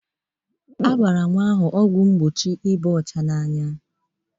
A gbara nwa ahụ ọgwọ mgbochie ịba anya odo.